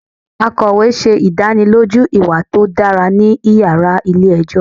Akọwe ṣe idaniloju iwa to dara ni yara ile-ẹjọ